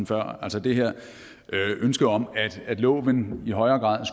før altså det her ønske om at loven i højere grad